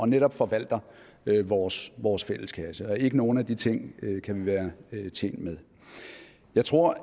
netop forvalter vores vores fælleskasse ikke nogen af de ting kan vi være tjent med jeg tror